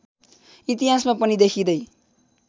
इतिहासमा पनि देखिँदै